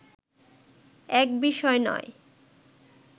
এক বিষয় নয়